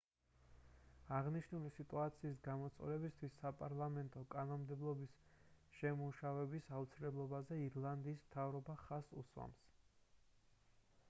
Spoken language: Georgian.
აღნიშნული სიტუაციის გამოსწორებისთვის საპარლამეტო კანონმდებლობის შემუშავების აუცილებლობაზე ირლანდიის მთავრობა ხაზს უსვამს